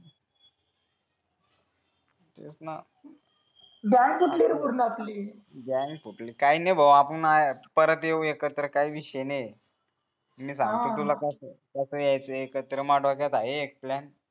तेच न गॅग तुटली रे पूर्ण आपली गॅग तुटली काही नाही भाऊ आपण आहेत परत येऊ एकत्र काही विषय नाही मी सांगतो तुला कस कस यायचं एकत्र